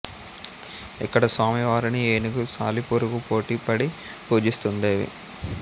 ఇక్కడ స్వామి వారిని ఏనుగు సాలిపురుగు పోటి పడి పూజిస్తుండేవి